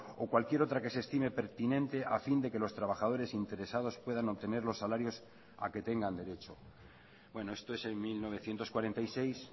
o cualquier otra que se estime pertinente a fin de que los trabajadores interesados puedan obtener los salarios a que tengan derecho bueno esto es en mil novecientos cuarenta y seis